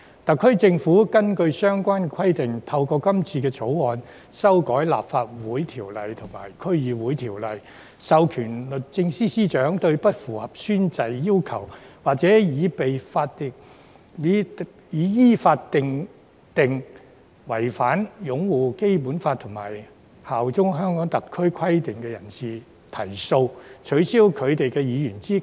"特區政府根據相關規定，透過《條例草案》修改《立法會條例》及《區議會條例》，授權律政司司長對不符合宣誓要求，或已被依法認定違反擁護《基本法》及效忠香港特區規定的人士提訴，取消其議員資格。